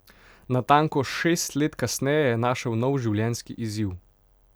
Natanko šest let kasneje je našel nov življenjski izziv.